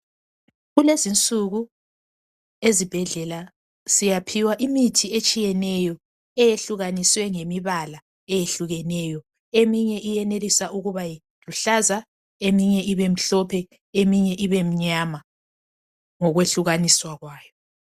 Kulezinsuku ezibhedlela siyaphiwa imithi etshiyeneyo eyehlukaniswe ngemibala eyehlukeneyo eminye iyenelisa ukuba luhlaza eminye ibemhlophe eminye ibemnyama ngokwehlukaniswa kwayo.